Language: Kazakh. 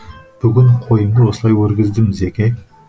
бүгін қойымды осылай өргіздім зеке